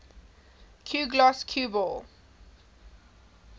cuegloss cue ball